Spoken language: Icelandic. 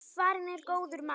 Farinn er góður maður.